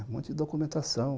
Um monte de documentação.